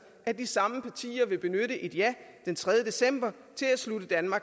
at de samme partier vil benytte et ja den tredje december